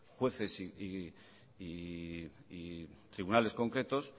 jueces y tribunales concretos